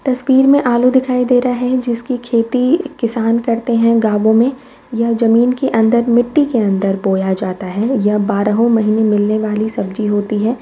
तस्वीर मे आलू दिखाई दे रहा है जिसकी खेती किसान करते है गावों मे यह जमीन के अंदर मिट्टी के अंदर बोया जाता है यह बारहों महीने मिलने वाली सब्जी होती है।